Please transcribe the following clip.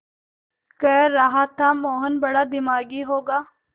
कह रहा था मोहन बड़ा दिमागी होगा